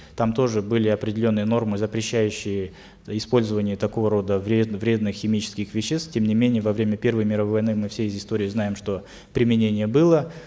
там тоже были определенные нормы запрещающие использование такого рода вредных химических веществ тем не менее во время первой мировой войны мы все из истории знаем что применение было